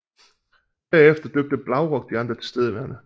Derefter døbte Blaurock de andre tilstedeværende